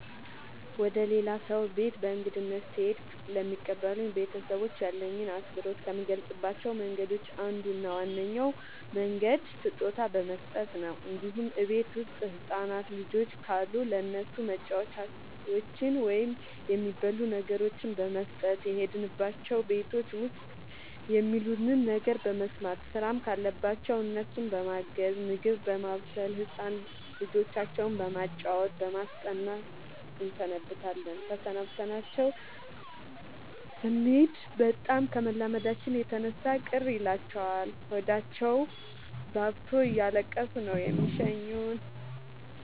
ወደ ሌላ ሰው ቤት በእንግድነት ስሄድ ለሚቀበሉኝ ቤተሰቦች ያለኝን አክብሮት ከምገልፅባቸው መንገዶች አንዱ እና ዋነኛው መንገድ ስጦታ በመስጠት ነው እንዲሁም እቤት ውስጥ ህፃናት ልጆች ካሉ ለእነሱ መጫወቻዎችን ወይም የሚበሉ ነገሮችን በመስጠት። የሄድንባቸው ቤቶች ውስጥ የሚሉንን ነገር በመስማት ስራም ካለባቸው እነሱን በማገዝ ምግብ በማብሰል ህፃን ልጆቻቸው በማጫወት በማስጠናት እንሰነብታለን ተሰናብተናቸው ስኔድ በጣም ከመላመዳችን የተነሳ ቅር ይላቸዋል ሆዳቸውባብቶ እያለቀሱ ነው የሚሸኙን።